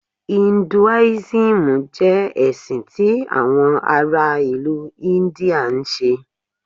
Hinduism jẹ ẹsin ti awọn ara ilu India nṣe.